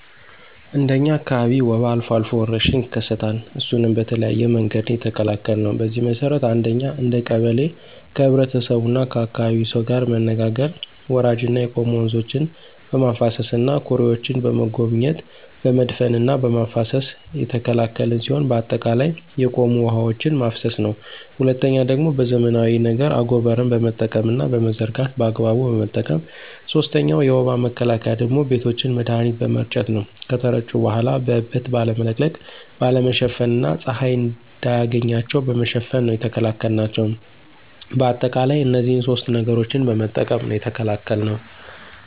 እንደ እኛ አካባቢ ወባ አልፎ አልፎ ወረርሽኝ ይከሰታል እሱንም በተለያየ መንገድ ነው የተከላከልነው። በዚህ መሰረት አንደኛ እንደ ቀበሌ ከህብረተሰቡና ከአካባቢው ሰው ጋር መነጋገር ወራጅና የቆሙ ወንዞችን በማፋሰስና ኩሬዎችን በመጎብኘት በመድፈንና በማፋሰስ የተከላከልን ሲሆን በአጠቃላይ የቆሙ ውሐዎችን ማፋሰስ ነው። ሁለተኛው ደግሞ በዘመናዊ ነገር አጎበርን በመጠቀምና በመዘርጋት በአግባቡ በመጠቀም። ሶስተኛው የወባ መከላከያ ደግሞ ቤቶችን መድሀኒት በመርጨት ነው ከተረጩ በኋላ በእበት ባለመለቅለቅ፣ ባለመሸፈን እና ፀሀይ እንዳያገኛቸው በመሸፈን ነው የተከላከልናቸው። በአጠቃላይ እነዚህን ሶስት ነገሮችን በመጠቀም ነው የተከላከልነው።